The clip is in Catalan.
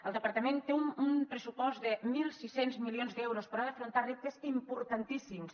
el departament té un pressupost de mil sis cents milions d’euros però ha d’afrontar reptes importantíssims